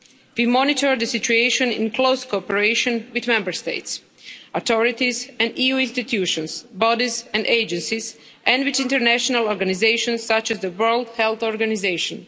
We monitor the situation in close cooperation with Member States, authorities, EU institutions, bodies and agencies and with international organisations such as the World Health Organisation.